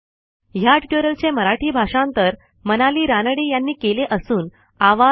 ह्या ट्युटोरियलचे मराठी भाषांतर मनाली रानडे यांनी केलेले असून आवाज